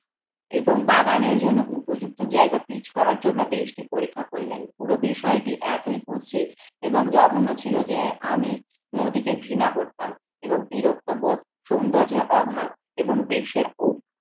এবং বাগানের জন্য উপযুক্ত জায়গা পিচ করার জন্য বেসটি পরীক্ষা করলেন। পুরো বিষয়টি এতই কুতসিত এবং জঘন্য ছিল যে আমি নদীকে ঘৃণা করতাম এবং বিরক্তবোধ সৌন্দর্যের অভাব এবং বেসের